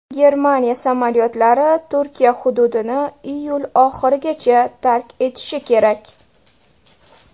Germaniya samolyotlari Turkiya hududini iyul oxirigacha tark etishi kerak.